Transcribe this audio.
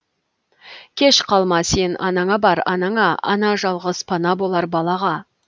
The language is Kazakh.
кеш қалма сен анаңа бар анаңа ана жалғыз пана болар балаға